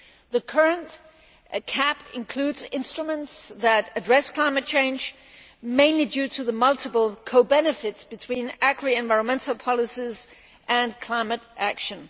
The current CAP includes instruments that address climate change, mainly through the multiple co benefits between agri environmental policies and climate action.